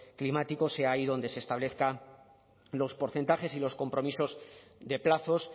climático sea ahí donde se establezcan los porcentajes y los compromisos de plazos